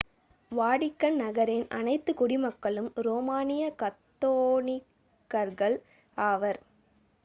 Vatican நகரின் அனைத்து குடிமக்களும் ரோமானிய கத்தோலிக்கர்கள் ஆவர்